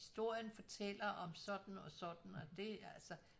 Historien fortæller om sådan og sådan og det altså